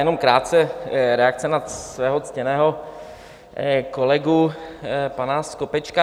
Jenom krátce reakce na svého ctěného kolegu pana Skopečka.